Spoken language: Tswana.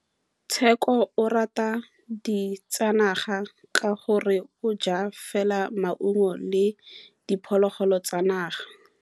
Tshekô o rata ditsanaga ka gore o ja fela maungo le diphologolo tsa naga.